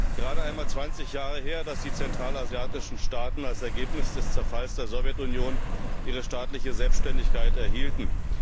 Es ist gerade einmal 20 Jahre her, dass die zentralasiatischen Staaten als Ergebnis des Zerfalls der Sowjetunion ihre staatliche Selbständigkeit erhielten.